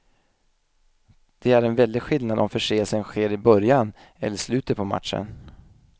Det är en väldig skillnad om förseelsen sker i början eller slutet på matchen.